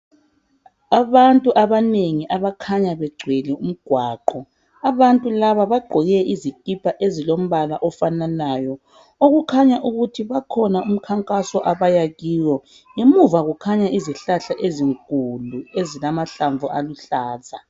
Abantu abanengi abakhanya begcwele umgwaqo. Abantu laba bagqoke izikipa ezilombala ofananayo okukhanya ukuthi kukhona umkhankaso abaya kiwo emuva kukhanya izihlahla ezinkulu ezilamanhlamvu aluhlaza